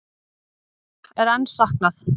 Nokkurra er enn saknað.